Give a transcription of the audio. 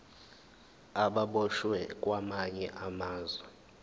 ababoshwe kwamanye amazwe